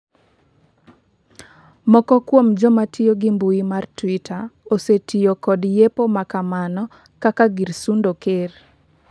moko kuom joma tiyo gi mbui mar twitter osetiyo kod yepo ma kamano kaka gir sundo ker